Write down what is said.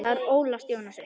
Þar ólst Jónas upp.